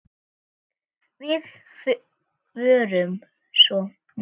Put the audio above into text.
Við vorum svo náin.